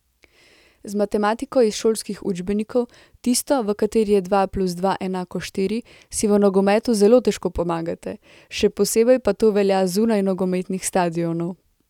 Z matematiko iz šolskih učbenikov, tisto, v kateri je dva plus dva enako štiri, si v nogometu zelo težko pomagate, še posebej pa to velja zunaj nogometnih stadionov.